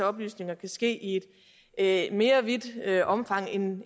oplysninger kan ske i et mere vidtgående omfang end